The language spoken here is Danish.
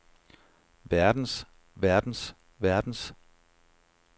verdens verdens verdens